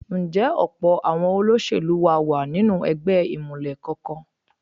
Ǹjẹ́ ọ̀pọ̀ àwọn olóṣèlú wa wà nínú ẹgbẹ́ ìmùlẹ̀ kankan?